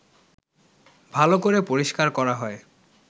ভালো করে পরিষ্কার করা হয়